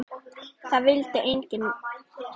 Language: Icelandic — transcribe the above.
Það vildi mig enginn!